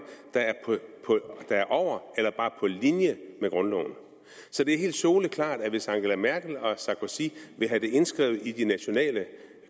der er over eller bare på linje med grundloven så det er helt soleklart at hvis angela merkel og sarkozy vil have det indskrevet i de nationale